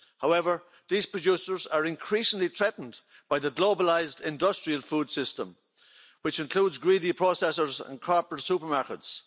However, these producers are increasingly threatened by the globalised industrial food system, which includes greedy processors and corporate supermarkets.